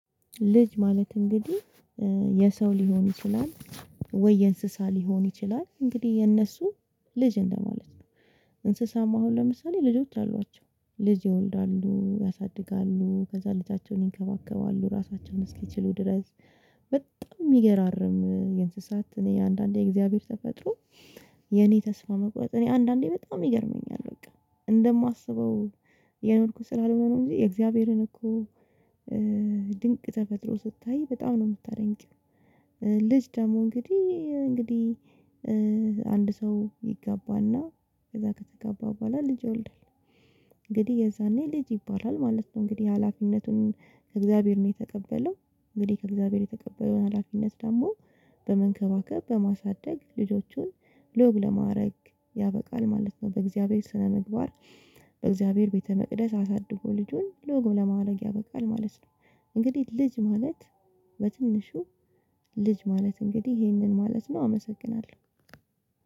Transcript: ልጅ ማለት እንግዲህ የሰው ሊሆን ይችላል ወይ የእንስሳ ሊሆን ይችላል እንግዲህ የእነሱ ልጅ እንደማለት ነው። እንስሳም አሁን ለምሳሌ ልጆች አሏቸው ልጅ ይወልዳሉ ያሳድጋሉ ከዛ ልጃቸውን ይንከባከባሉ ራሳቸውን እስኪችሉ ድረስ። በጣም የሚገራርም የእንስሳት እኔ አንዳንዴ የእግዚአብሔር ተፈጥሮ የኔ ተስፋ መቁረጥ አንዳንዴ በጣም ይገርመኛል በቃ እንደማስበው እየኖርኩ ስላልሆነ ነው እንጂ የእግዚአብሔርን እኮ ድንቅ ተፈጥሮ ስታይ በጣም ነው የምታደንቂው። ልጅ ደግሞ እንግዲህ እንግዲህ አንድ ሰው ይጋባ እና ከዛ ከተጋባ በኋላ ልጅ ይወልዳል። እንግዲህ የዛኔ ልጅ ይባላል ማለት ነው። እንግዲህ ሀላፊነቱን ከእግዚአብሔር ነው የተቀበለው እንግዲህ ከእግዚአብሔር የተቀበለው ሀላፊነት ደግሞ በመንከባከብ በማሳደግ ልጆቹን ለወግ ለማአረግ ያበቃል ማለት ነው። በእግዚአብሔር ስነምግባር። በእግዚአብሔር ቤተ መቅደስ አሳድጎ ልጁን ለወግ ለማአረግ ያበቃል ማለት ነው። እንግዲህ ልጅ ማለት በትንሹ ልጅ ማለት እንግዲህ ይሄንን ማለት ነው አመሰግናለሁ።